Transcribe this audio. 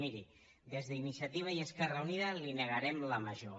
miri des d’iniciativa i esquerra unida li negarem la major